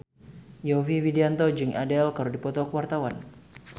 Yovie Widianto jeung Adele keur dipoto ku wartawan